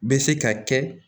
Bɛ se ka kɛ